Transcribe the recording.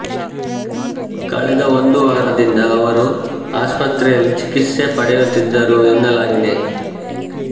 ಕಳೆದ ಒಂದು ವಾರದಿಂದ ಅವರು ಆಸ್ಪತ್ರೆಯಲ್ಲಿ ಚಿಕಿತ್ಸೆ ಪಡೆಯುತ್ತಿದ್ದರು ಎನ್ನಲಾಗಿದೆ